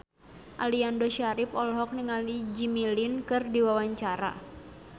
Aliando Syarif olohok ningali Jimmy Lin keur diwawancara